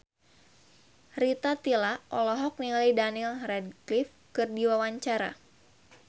Rita Tila olohok ningali Daniel Radcliffe keur diwawancara